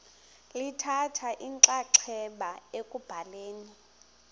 lithatha inxaxheba ekubhaleni